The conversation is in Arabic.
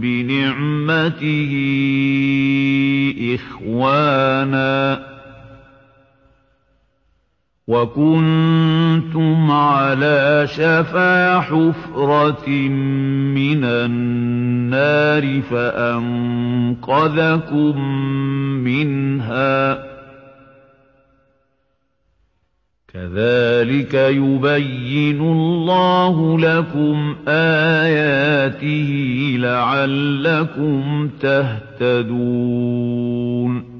بِنِعْمَتِهِ إِخْوَانًا وَكُنتُمْ عَلَىٰ شَفَا حُفْرَةٍ مِّنَ النَّارِ فَأَنقَذَكُم مِّنْهَا ۗ كَذَٰلِكَ يُبَيِّنُ اللَّهُ لَكُمْ آيَاتِهِ لَعَلَّكُمْ تَهْتَدُونَ